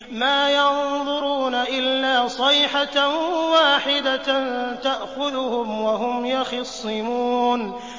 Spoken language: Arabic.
مَا يَنظُرُونَ إِلَّا صَيْحَةً وَاحِدَةً تَأْخُذُهُمْ وَهُمْ يَخِصِّمُونَ